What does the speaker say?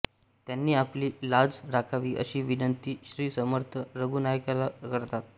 त्यांनी आपली लाज राखावी अशी विनंती श्री समर्थ रघूनायकाला करतात